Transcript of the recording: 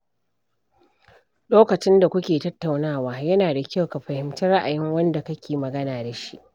Lokacin da ku ke tattaunawa, yana da kyau ka fahimci ra’ayin wanda kake magana da shi.